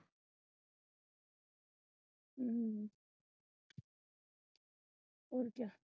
ਹੋਰ ਕਿਆ।